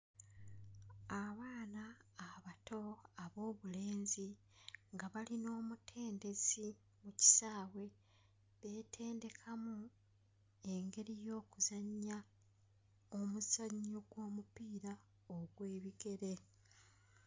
Abaana abato ab'obulenzi nga bali n'omutendesi mu kisaawe beetendekamu engeri y'okuzannya omuzannyo gw'omupiira ogw'ebigere